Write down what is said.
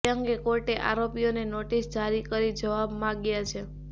તે અંગે કોર્ટે આરોપીઓને નોટિસ જારી કરી જવાબ માગ્યા છે